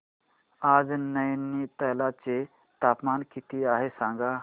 आज नैनीताल चे तापमान किती आहे सांगा